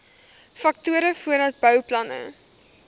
faktore voordat bouplanne